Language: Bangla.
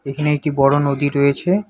এখানে একটি বড় নদী রয়েছে।